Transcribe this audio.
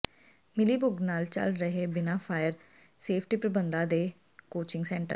ਮਿਲੀ ਭੁਗਤ ਨਾਲ ਚੱਲ ਰਿਹੈ ਬਿਨਾਂ ਫਾਇਰ ਸੇਫਟੀ ਪ੍ਰਬੰਧਾਂ ਦੇ ਕੋਚਿੰਗ ਸੈਂਟਰ